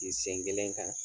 Gi sen kelen kan